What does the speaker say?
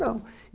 Não.